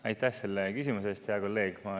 Aitäh selle küsimuse eest, hea kolleeg!